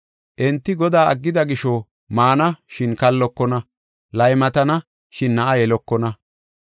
Enti Godaa aggida gisho maana, shin kallokona; laymatana, shin na7a yelokona.